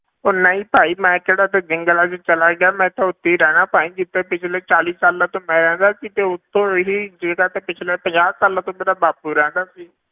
ਉਹ ਨਹੀਂ ਭਾਈ ਮੈਂ ਕਿਹੜਾ ਇੱਥੇ ਜੰਗਲਾਂ ਵਿੱਚ ਚਲਾ ਗਿ, ਆ ਮੈਂ ਤਾਂ ਉੱਥੇ ਹੀ ਰਹਿਨਾ ਭਾਈ ਜਿੱਥੇ ਪਿੱਛਲੇ ਚਾਲੀ ਸਾਲਾਂ ਤੋਂ ਮੈਂ ਰਹਿੰਦਾ ਸੀ ਤੇ ਉੱਤੋਂ ਇਹੀ ਜਗ੍ਹਾ ਤੇ ਪਿੱਛਲੇ ਪੰਜਾਹ ਸਾਲਾਂ ਤੋਂ ਮੇਰਾ ਬਾਪੂ ਰਹਿੰਦਾ ਸੀ